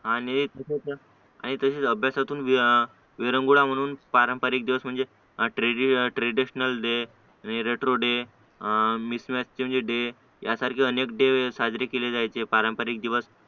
आणि तसंच तसंच अभ्यासातून विरंगुळा म्हणून पारंपारिक दिवस म्हणजे ट्रॅडिशनल ट्रॅडिशनल डे वे रेट्रो डे मॅचिंग डे यासारखे अनेक डे साजरे केले जायचे पारंपारिक दिवस